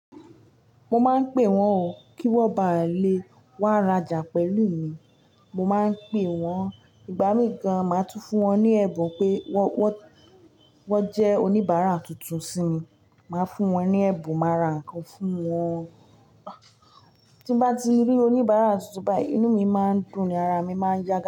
Mo máa ń pè wọ́n o kí wọ́n ba lè wá rajà pẹ̀lú mi. Mo máa ń pè wọ́n ìgbà míì gan máa tún fún wọn ní ẹ̀bùn pé wọ́n, wọ́n jẹ́ oníbàárà tuntun sí mi. Màá fún wọn ní ẹ̀bùn, màá ra ǹkan fún wọn. Tí n bá ti rí oníbàárà tuntun báyìí, inú mi máa ń dùn ni ara mi máa ń yagá.